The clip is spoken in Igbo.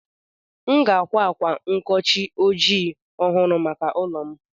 M ga-àkwá ákwá nkochi ojii ọhụrụ maka ụlọ m.